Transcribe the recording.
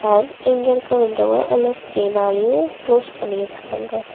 அ இங்க இருக்க விண்டோவ எல்லோ ஸ்க்ரீனாலயு குலோஸ் பண்ணிருக்காங்க.